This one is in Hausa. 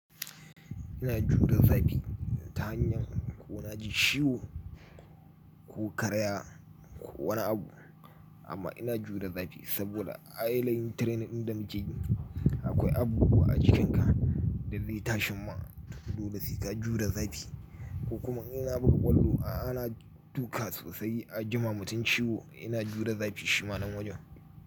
Ina jure zafi ta hanyar ko na ji ciwo ko karaya ko wani abu, amma ina jure zafi saboda a yanayin training din da muke yi akwai abu a jikinka da zai tashi ma dole sai ka jure zafi. Ko kuma in na buga kwallo ana duka sosai a jima mutum ciwo ina jure zafi shima nan wajen.